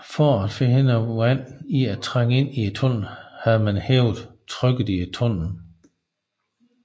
For at forhindre vand i at trænge ind i tunnelerne havde man hævet trykket i tunnelerne